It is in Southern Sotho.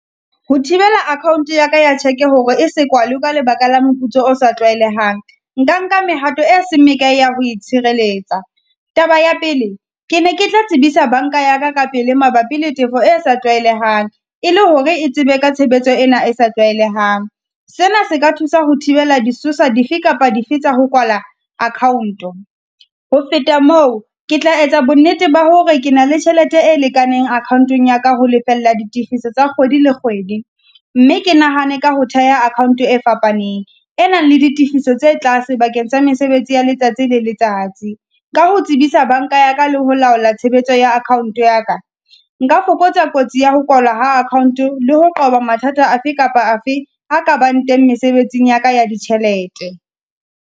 Ho thibela account ya ka ya cheque-e hore e se kwale ka lebaka la moputso o sa tlwaelehang. Nka nka mehato e seng mekae ya ho itshireletsa. Taba ya pele, ke ne ke tla tsebisa banka ya ka ka pele mabapi le tefo e sa tlwaelehang, e le hore e tsebe ka tshebetso ena e sa tlwaelehang. Sena se ka thusa ho thibela disosa dife kapa dife tsa ho kwala account-o. Ho feta moo, ke tla etsa bonnete ba hore ke na le tjhelete e lekaneng account-ong ya ka ho lefella di tifiso tsa kgwedi le kgwedi. Mme ke nahane ka ho theha account e fapaneng, e nang le ditefiso tse tlase bakeng tsa mesebetsi ya letsatsi le letsatsi. Ka ho tsebisa banka ya ka le ho laola tshebetso ya account ya ka. Nka fokotsa kotsi ya ho kwalwa ha account le ho qoba mathata afe kapa afe a ka bang teng mesebetsing ya ka ya ditjhelete.